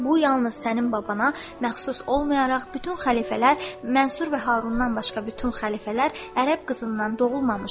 Bu yalnız sənin babana məxsus olmayaraq bütün xəlifələr, Mənsur və Harundan başqa bütün xəlifələr Ərəb qızından doğulmamışdır.